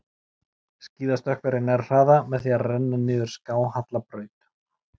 Skíðastökkvari nær hraða með því að renna niður skáhalla braut.